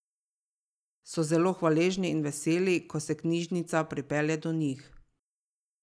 So zelo hvaležni in veseli, ko se knjižnica pripelje do njih.